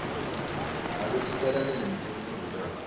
ngabe ticala nini timfundvo takho